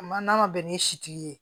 Ma n'a ma bɛn ni sitigi ye